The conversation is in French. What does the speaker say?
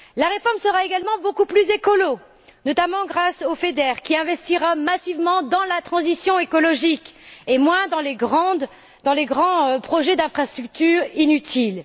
La réforme sera également beaucoup plus écologique, notamment grâce au FEDER, qui investira massivement dans la transition écologique et moins dans les grands projets d'infrastructure inutiles.